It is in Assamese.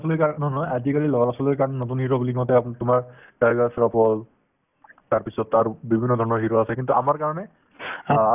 ল'ৰা-ছোৱালীৰ নহয় আজিকালিৰ ল'ৰা-ছোৱালিৰ কাৰণে নতুন hero বুলি কওঁতে আপো তোমাৰ তাইগাৰ শ্ৰোফ তাৰপিছত আৰু বিভিন্ন ধৰণৰ hero আছে কিন্তু আমাৰ কাৰণে